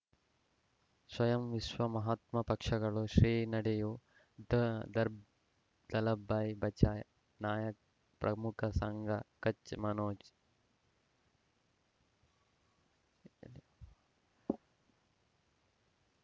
ಸ್ವಯಂ ವಿಶ್ವ ಮಹಾತ್ಮ ಪಕ್ಷಗಳು ಶ್ರೀ ನಡೆಯೂ ದ ದಾರ್ಬ ದಲೈ ಭಯ್ ಬಚೈ ನಾಯ ಪ್ರಮುಖ ಸಂಘ ಕಚ್ ಮನೋಜ್